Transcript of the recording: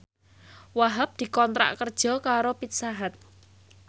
Wahhab dikontrak kerja karo Pizza Hut